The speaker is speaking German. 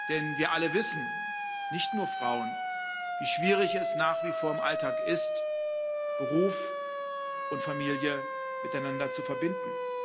Denn wir alle wissen nicht nur Frauen wie schwierig es nach wie vor im Alltag ist, Beruf und Familie miteinander zu verbinden.